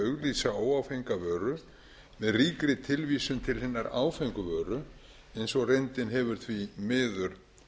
auglýsa óáfenga vöru með ríkri tilvísun til hinnar áfengu vöru eins og reyndin hefur því miður